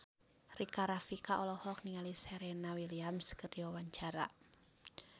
Rika Rafika olohok ningali Serena Williams keur diwawancara